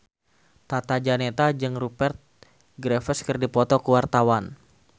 Tata Janeta jeung Rupert Graves keur dipoto ku wartawan